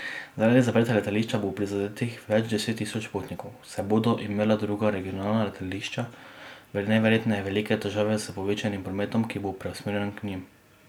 Zaradi zaprtja letališča bo prizadetih več deset tisoč potnikov, saj bodo imela druga regionalna letališča najverjetneje velike težave s povečanim prometom, ki bo preusmerjen k njim.